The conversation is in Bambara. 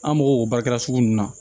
An mago b'o baarakɛ sugu ninnu na